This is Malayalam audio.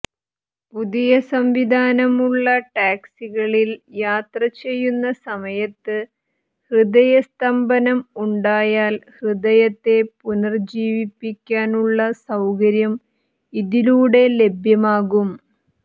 പുതിയ സംവിധാനം ഉള്ള ടാക്സികളിൽ യാത്രചെയ്യുന്ന സമയത്ത് ഹൃദയ സ്തംഭനം ഉണ്ടായാൽ ഹൃദയത്തെ പുനരുജ്ജീവിപ്പിക്കാനുള്ള സൌകര്യം ഇതിലൂടെ ലഭ്യമാകും